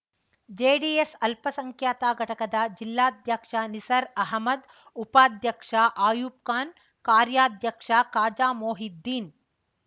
JDS ಅಲ್ಪಸಂಖ್ಯಾತ ಘಟಕದ ಜಿಲ್ಲಾಧ್ಯಕ್ಷ ನಿಸಾರ್‌ ಅಹಮದ್‌ಉಪಾಧ್ಯಕ್ಷ ಅಯ್ಯೂಬ್‌ಖಾನ್‌ಕಾರ್ಯಾಧ್ಯಕ್ಷ ಖಾಜಾಮೊಹಿದ್ದೀನ್‌